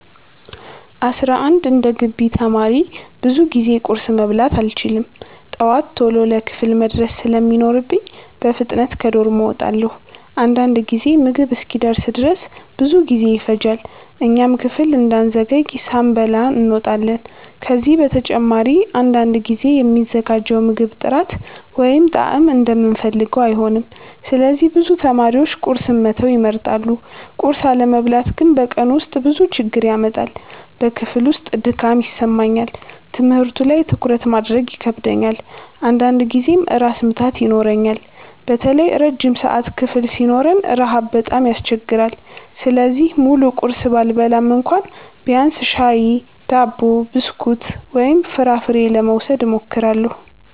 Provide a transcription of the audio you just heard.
11እንደ ግቢ ተማሪ ብዙ ጊዜ ቁርስ መብላት አልችልም። ጠዋት ቶሎ ለክፍል መድረስ ስለሚኖርብኝ በፍጥነት ከዶርም እወጣለሁ። አንዳንድ ጊዜ ምግብ እስኪደርስ ድረስ ብዙ ጊዜ ይፈጃል፣ እኛም ክፍል እንዳንዘገይ ሳንበላ እንወጣለን። ከዚህ በተጨማሪ አንዳንድ ጊዜ የሚዘጋጀው ምግብ ጥራት ወይም ጣዕም እንደምንፈልገው አይሆንም፣ ስለዚህ ብዙ ተማሪዎች ቁርስን መተው ይመርጣሉ። ቁርስ አለመብላት ግን በቀኑ ውስጥ ብዙ ችግር ያመጣል። በክፍል ውስጥ ድካም ይሰማኛል፣ ትምህርቱ ላይ ትኩረት ማድረግ ይከብደኛል፣ አንዳንድ ጊዜም ራስ ምታት ይኖረኛል። በተለይ ረጅም ሰዓት ክፍል ሲኖረን ረሃብ በጣም ያስቸግራል። ስለዚህ ሙሉ ቁርስ ባልበላም እንኳ ቢያንስ ሻይ፣ ዳቦ፣ ብስኩት ወይም ፍራፍሬ ለመውሰድ እሞክራለሁ።